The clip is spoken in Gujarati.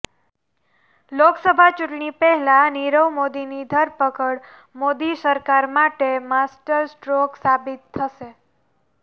લોકસભા ચૂંટણી પહેલા નીરવ મોદીની ધરપકડ મોદી સરકાર માટે માસ્ટરસ્ટ્રોક સાબિત થશે